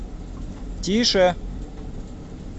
тише